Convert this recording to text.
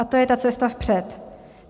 A to je ta cesta vpřed.